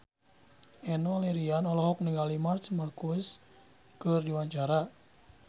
Enno Lerian olohok ningali Marc Marquez keur diwawancara